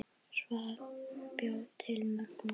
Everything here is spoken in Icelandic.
Svan bjó yfir mörgum kostum.